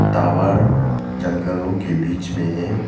Tower जंगलों के बीच में है।